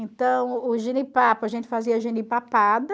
Então, o jenipapo, a gente fazia a jenipapada...